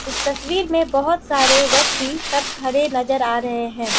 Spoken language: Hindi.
इस तस्वीर में बहोत सारे व्यक्ति सब खड़े नजर आ रहे हैं।